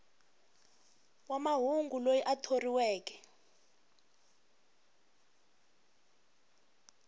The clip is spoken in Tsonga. wa mahungu loyi a thoriweke